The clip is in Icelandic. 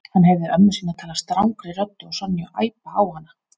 Hann heyrði ömmu sína tala strangri röddu og Sonju æpa á hana.